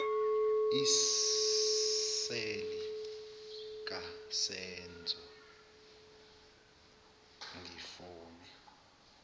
iseli kasenzo ngifone